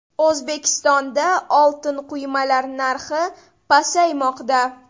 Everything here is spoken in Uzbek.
O‘zbekistonda oltin quymalar narxi pasaymoqda.